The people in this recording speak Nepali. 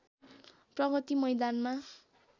प्रगति मैदानमा